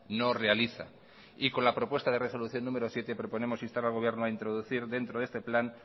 no realiza y con la propuesta de resolución número siete proponemos instar al gobierno a introducir dentro de este plan